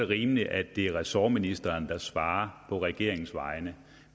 rimeligt at det er ressortministeren der svarer på regeringens vegne